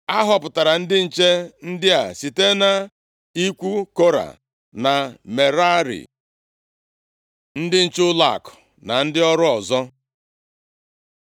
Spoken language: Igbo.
A họpụtara ndị nche ndị a site nʼikwu Kora na Merari. Ndị nche ụlọakụ na ndị ọrụ ọzọ